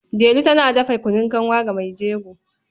Delu tana dafa kunun kanwa ga mai jego.